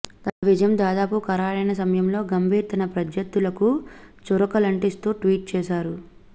తన విజయం దాదాపు ఖరారైన సమయంలో గంభీర్ తన ప్రత్యర్థులకు చురకలంటిస్తూ ట్వీట్చేశారు